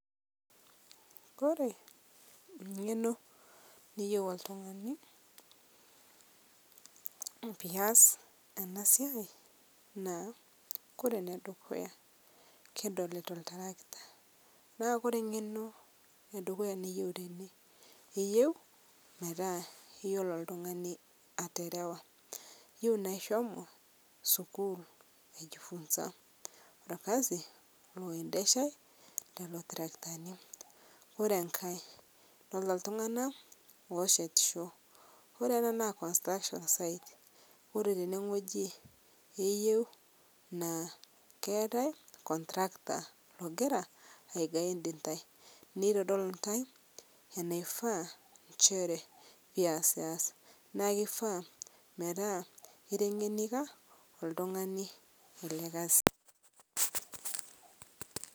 ore eng'eno niyieu oltung'ani naa ore enedukuya kidolita oltarakita, naa ore eng'eno edukuya niyieu tene naa eyieu metaa iyiolo oltung'ani aterewa ishomo sukuul, ajifunza olkasi loendesha lelo tarakitani, ore enkae naa iltung'anak oo shetisho ore ena naa construction ore teneweji eyieu naa ketae contractors ogira ai guide ,intae nitodol intae enaifaa inchere pee iyasiyasa neeku kifaa naa iteng'enikia oltung'ani ele kasi.